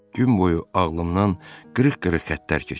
Gün boyu ağlımdan qırıq-qırıq xəttlər keçir.